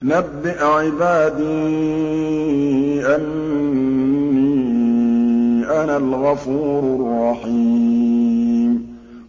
۞ نَبِّئْ عِبَادِي أَنِّي أَنَا الْغَفُورُ الرَّحِيمُ